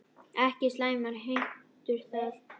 Ekki slæmar heimtur það.